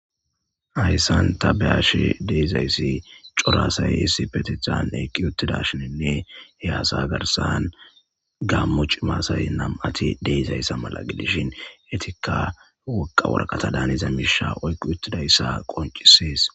Haysan ta be'ashe dizaysi c'ora asay issipetetan eqi utidashininne he asa garsan gamo c'ima asay nam'ati de'izaysa mala gidishin etika woga woraqata daniza misha oyqidaysa qonc'ises.